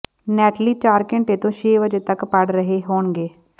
Natalie ਚਾਰ ਘੰਟੇ ਤੋਂ ਛੇ ਵਜੇ ਤਕ ਪੜ੍ਹ ਰਹੇ ਹੋਣਗੇ